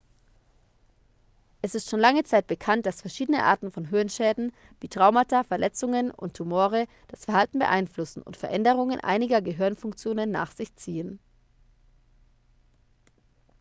es ist schon lange zeit bekannt dass verschiedene arten von hirnschäden wie traumata verletzungen und tumore das verhalten beeinflussen und veränderungen einiger gehirnfunktionen nach sich ziehen